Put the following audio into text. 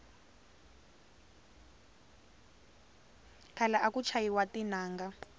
khale aku chayiwa tinanga